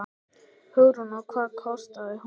Hugrún: Og hvað kostaði hún?